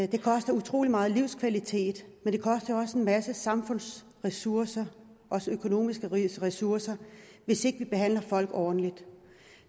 det koster utrolig megen livskvalitet men det koster også en masse samfundsressourcer også økonomiske ressourcer hvis ikke vi behandler folk ordentligt